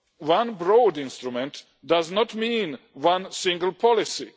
Third, one broad instrument does not mean one single policy.